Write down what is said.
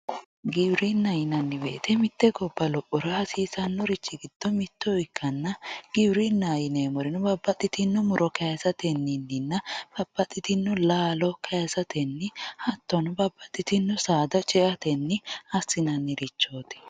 giwirinnaho yinanni woyiite mitte gobba lophora hasiisanorich giddo mitto ikkanna giwirinnaho yineemorino babbattinno muro kayiisatenininna babbaxitinno laalo kayiisateni hattono babbaxitino saada ce"atenni assinanirichooti.